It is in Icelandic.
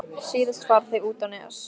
Síðast fara þau út á Nes.